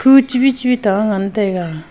ku chubi chubi ta ngan taiga.